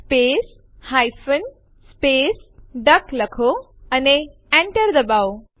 તે માટે આપણે સીપી ટેસ્ટડિર ટેસ્ટ લખીશું અને Enter દબાવીશું